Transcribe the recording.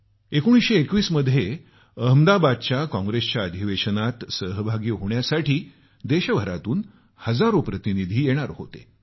1921 मध्ये अहमदाबादमध्ये काँग्रेसच्या अधिवेशनात सहभागी होण्यासाठी देशभरातून हजारो प्रतिनिधी येणार होते